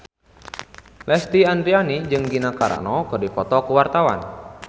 Lesti Andryani jeung Gina Carano keur dipoto ku wartawan